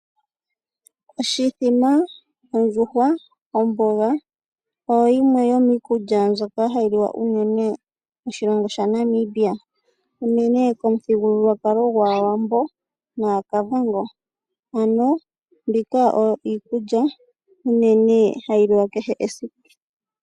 Oshimbombo ,ondjuhwa ,omboga oyo yimwe yo mikulya mbyoka hayi liwa uunene koshilongo shaNamibia uunene komuthigululwakalo gwaawambo nakavango aano mbika oyo iikulya uunene hayi liwa kehe esiku.